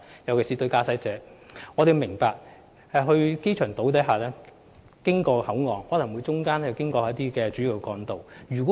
我們明白，駕駛者在前往機場島或口岸途中會經過主要幹道。